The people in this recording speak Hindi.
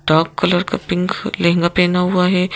डार्क कलर का पिंक लहंगा पहना हुआ है।